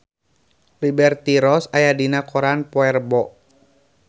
Liberty Ross aya dina koran poe Rebo